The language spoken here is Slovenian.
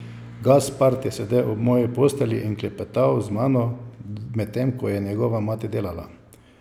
Gaspard je sedel ob moji postelji in klepetal z mano, medtem ko je njegova mati delala.